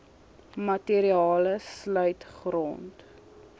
materiale sluit grond